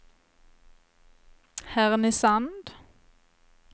Härnösand